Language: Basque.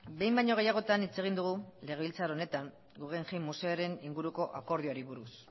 behin baino gehiagotan hitz egin dugu legebiltzar honetan guggenheim museoaren inguruko akordioari buruz